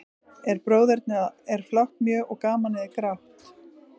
En bróðernið er flátt mjög, og gamanið er grátt.